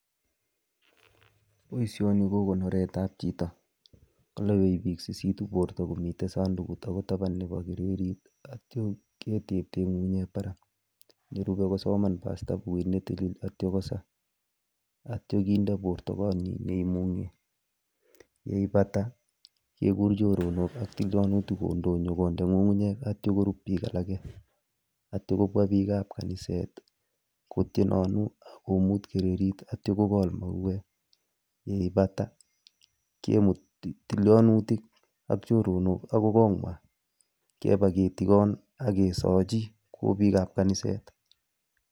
Boisioni ko konoretab chito, kalapi biik sisitu borto komitei sandukut akoi taban nebo kererit atyo ketepto eng ngungunyek barak, nerupei kosoman pasta bukuit ne tilil atyo kosaa, atyo kende borto konyin neimung'e, yeipata kekur choronok ak tiolinutik kondoi kondee ngungunyek atyo korup biik alak, atyo kobwa biikab kaniset kotienanu komuut kererit atyo kokol mauwek, yeipata kemut tilianutik ak choronok akoi kongw'ai keba ketigon ake sochi kou biikab kaniset.